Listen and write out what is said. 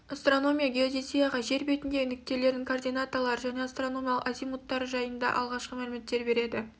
астраномия геодезияға жер бетіндегі нүктелердің координаталары және астрономиялық азимуттары жайында алғашқы мәліметтер береді